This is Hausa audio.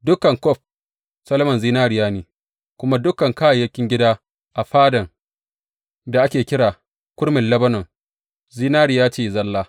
Dukan kwaf Solomon zinariya ne, kuma dukan kayayyakin gida a Fadan da ake kira Kurmin Lebanon, zinariya ce zalla.